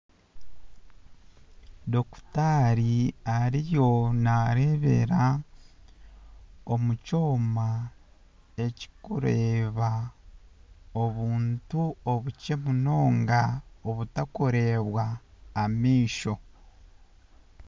Dokitari ariyo naareebera omu kyoma ekirikureeba obuntu obukye munonga obutarikureebwa amaisho